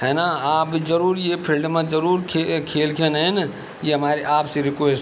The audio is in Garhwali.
हेना आप जरूर ये फील्ड मा जरूर खे खेल खेनेन ये हमरी आपसे रिक्वेस्ट --